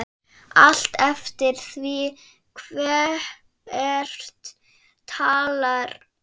Allt eftir því hver talar.